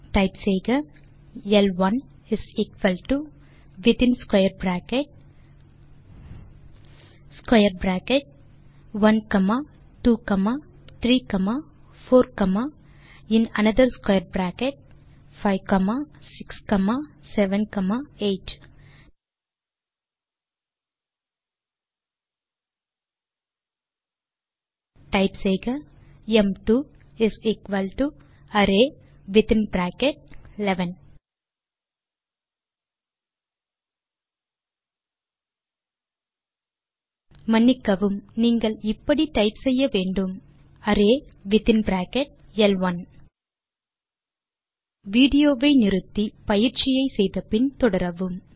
type செய்க L 1 within square bracket square bracket 1 comma 2 comma 3 comma 4 comma in another square bracket 5 comma 6 comma 7 comma 8 type செய்க ம்2 array within bracket 11 sorry நீங்கள் இப்படி type செய்ய வேண்டும் L 1 array within bracket மற்றும் square bracket L 1 video வை நிறுத்தி பயிற்சியை செய்து முடித்து பின் தொடரவும்